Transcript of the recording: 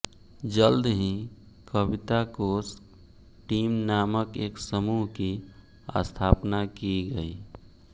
जल्द ही कविता कोश टीम नामक एक समूह की स्थापना की गई